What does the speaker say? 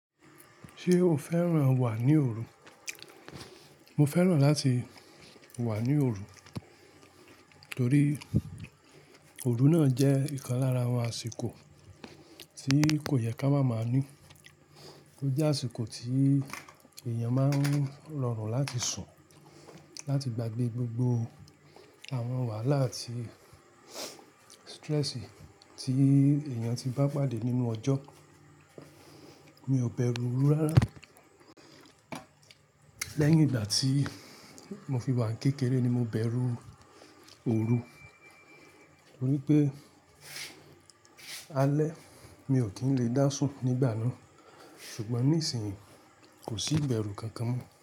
Ṣé o fẹ́ràn wà ní òru? Mo fẹ́ràn láti wà ní òru torí òru náà jẹ́ ìkan lára àwọn àsìkò tí kò yẹ ká máa máa ní. Ó jẹ́ àsìkò tí èèyàn máa ń rọrùn láti sùn, láti gbagbe gbogbo àwọn wàhálà àti stressi tí èèyàn ti bá pàdé nínú ọjọ́. Mi ò bẹ̀rù orú rárá. Lẹ́yìn ìgbà tí mo fi wà kékeré ni mo bẹ̀rù òru torí pé alẹ́ mi ò kí ń lè dá sùn nígbà náà ṣùgbọ́n níìsín kò sí ibẹ̀rù kankan mọ́